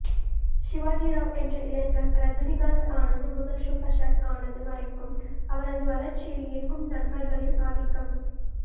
சிவஜிராவ் என்ற இளைஞன் ரஜினிகாந்த் ஆனது முதல் சூப்பர்ஷ்ட்ர் ஆனது வரைக்கும் அவரது வளர்ச்சியில் எங்கும் நண்பர்களின் ஆதிக்கம்